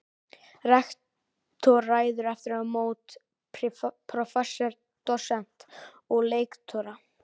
Rektor ræður aftur á móti prófessora, dósenta og lektora.